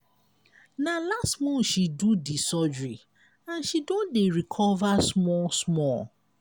na last month she do di surgery and she don dey recover small-small.